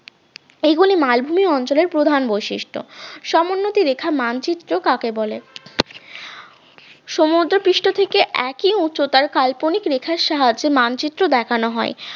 এগুলি মালভূমি অঞ্চলের প্রধান বৈশিষ্ট্য সমোন্নতি রেখা মানচিত্র কাকে বলে? সমুদ্রপৃষ্ঠ থেকে একই উচ্চতার কাল্পনিক রেখার সাহায্যে মানচিত্র দেখানো হ